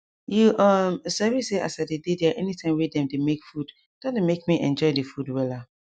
you um sabi say as i dey dey there anytime wey dem dey make food don dey make me enjoy the food wella